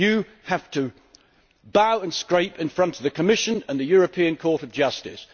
You have to bow and scrape in front of the Commission and the European Court of Justice.